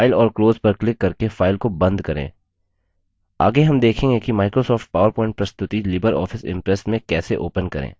आगे हम देखेंगे कि microsoft powerpoint प्रस्तुति लिबर ऑफिस impress में कैसे open करें